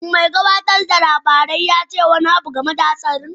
Shin mai gabatar da labarai ya ce wani abu game da hatsarin?